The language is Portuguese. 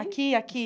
Aqui, aqui.